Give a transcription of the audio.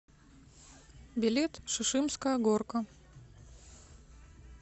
билет шишимская горка